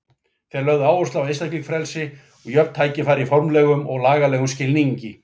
Þeir lögðu áherslu á einstaklingsfrelsi og jöfn tækifæri í formlegum og lagalegum skilningi.